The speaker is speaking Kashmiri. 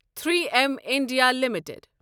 three M India limited